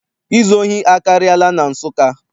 Izu ohi akarịala na Nsụka.